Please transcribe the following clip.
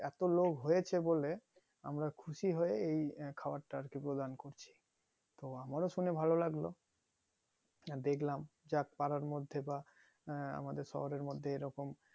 এত লোক হয়েছে বলে আমরা খুশি হয়ে এই খবরটা আর কি প্রদান করছি তো আমার ও শুনে ভালো লাগলো আর দেখলাম যাক পাড়ার মধ্যে বা আহ আমাদের শহরের মধ্যে এরকম